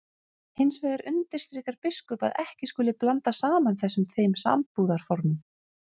Hins vegar undirstrikar biskup að ekki skuli blanda saman þessum tveim sambúðarformum.